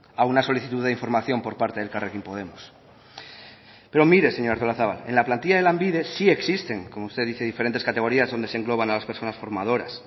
a una solicitud de información por parte de elkarrekin podemos pero mire señora artolazabal en la plantilla de lanbide sí existen como usted dice diferentes categorías donde se engloban a las personas formadoras